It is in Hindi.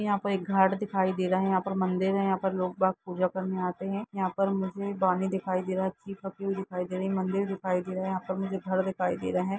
यहाँ पर एक घर दिखाई दे रहा है यहाँ पर मंदिर है यहाँ पर लोग पूजा करने आते है यहाँ पर मुझे दिखाई दे रहे है यहाँ पर मुझे दिखाई दे रहे है मंदिर दिखाई दे रहे है यहाँ पर मुझे घर दिखाई दे रहे है।